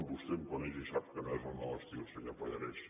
vostè em coneix i sap que no és el meu estil senyor pallarès